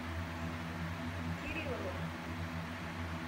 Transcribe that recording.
кириловой